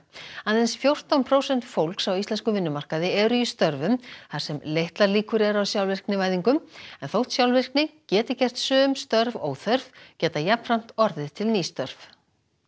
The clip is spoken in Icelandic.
aðeins fjórtán prósent fólks á íslenskum vinnumarkaði eru í störfum þar sem litlar líkur eru á sjálfvirknivæðingu en þótt sjálfvirkni geti gert sum störf óþörf geta jafnframt orðið til ný störf